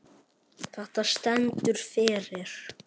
Þetta stendur fyrir